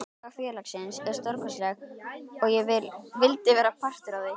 Saga félagsins er stórkostleg og ég vildi vera partur af því.